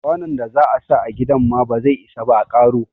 Kwanon da za a sa a gidan ma ba zai isa ba a karo.